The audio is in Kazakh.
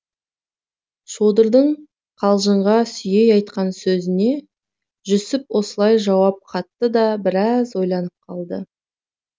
шодырдың қалжыңға сүйей айтқан сөзіне жүсіп осылай жауап қатты да біраз ойланып қалды